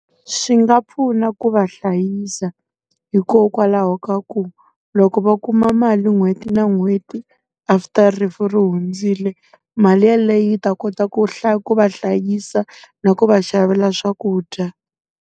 Swi nga pfuna ku va hlayisa. Hikokwalaho ka ku, loko va kuma mali n'hweti na n'hweti after rifu ri hundzile, mali ya leyi ta kota ku ku va hlayisa na ku va xavela swakudya.